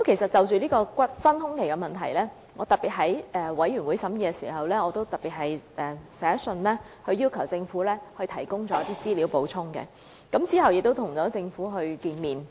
就這真空期問題，我特別在法案委員會審議時去信要求政府提供補充資料，後來亦曾與政府會面。